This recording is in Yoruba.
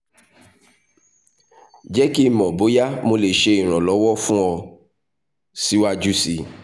jẹ ki n mọ boya mo le ṣe iranlọwọ fun ọ siwaju sii